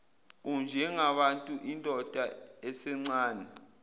unjengabantu indoda esencane